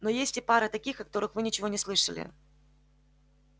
но есть и пара таких о которых вы ничего не слышали